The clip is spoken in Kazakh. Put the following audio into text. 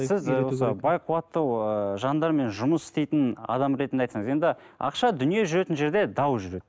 сіз ы осы байқуатты ыыы жандармен жұмыс істейтін адам ретінде айтсаңыз енді ақша дүние жүретін жерде дау жүреді